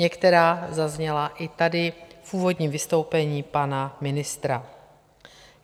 Některá zazněla i tady v úvodním vystoupení pana ministra.